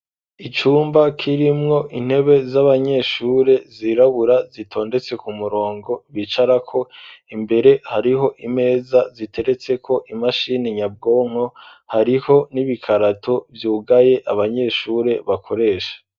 Icumba kirimwo intebe z'abanyeshuri zirabura zitondetse ku murongo bicara ko imbere hariho imeza ziteretse ko imashini nyabwonko hariho n'ibikarato vyugaye abanyeshure bakoresha.